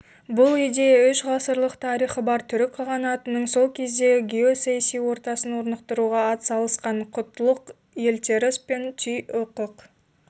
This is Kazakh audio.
бұл идея үш ғасырлық тарихы бар түрік қағанатының сол кездегі геосаяси ортасын орнықтыруға атсалысқан құтлұқ елтеріс пен тұй-ұқық